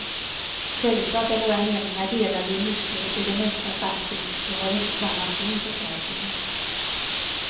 Självklart är våra meningar delade i mycket, i det mesta faktiskt, vi har inte samma syn på saker.